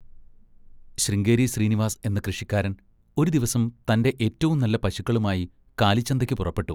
ശൃംഗേരി ശ്രീനിവാസ് എന്ന കൃഷിക്കാരൻ ഒരു ദിവസം തൻ്റെ ഏറ്റവും നല്ല പശുക്കളുമായി കാലിച്ചന്തയ്ക്കു പുറപ്പെട്ടു.